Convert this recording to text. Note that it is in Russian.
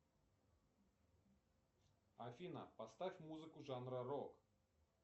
афина поставь музыку жанра рок